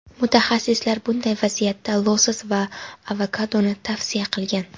Mutaxassislar bunday vaziyatda losos va avokadoni tavsiya qilgan.